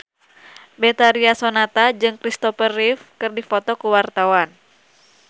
Betharia Sonata jeung Christopher Reeve keur dipoto ku wartawan